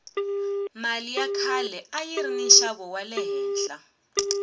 mali ya khale ayiri ni nxavo wale henhla